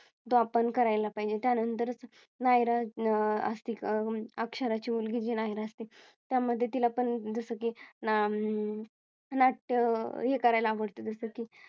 तो आपण करायला पाहिजे. त्यानंतरच नायरा अं असती अक्षरा ची मुलगी नायरा असते त्या मध्ये तील आपण जसं की हम्म नाट्य हे करायला आवडतं जस कि